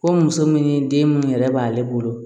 Ko muso min den minnu yɛrɛ b'ale bolo